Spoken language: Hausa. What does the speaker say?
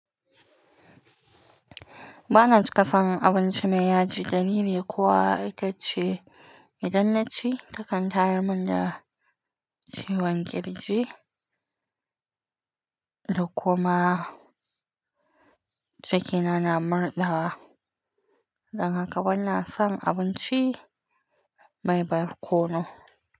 Ba na cika son abinci mai yaji da ni ne, kowa ita ce. Idan na ci ta kan tayar mun da ciwon kirji da kuma cikina na murɗawa. Dan haka bana son abinci mai barkono.